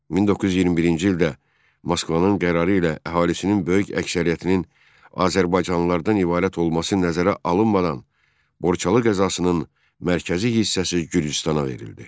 1921-ci ildə Moskvanın qərarı ilə əhalisinin böyük əksəriyyətinin azərbaycanlılardan ibarət olması nəzərə alınmadan Borçalı qəzasının mərkəzi hissəsi Gürcüstana verildi.